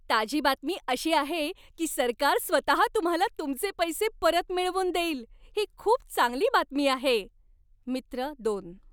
ताजी बातमी अशी आहे की सरकार स्वतहा तुम्हाला तुमचे पैसे परत मिळवून देईल. ही खूप चांगली बातमी आहे. मित्र दोन